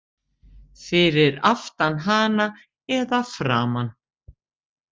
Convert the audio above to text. Fyrir aftan hana eða framan?